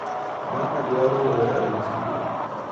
Mama dwaro ora e chiro.